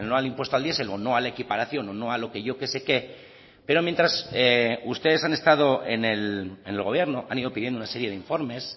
al impuesto al diesel o no a la equiparación o no a lo que yo qué sé qué pero mientras ustedes han estado en el gobierno han ido pidiendo una serie de informes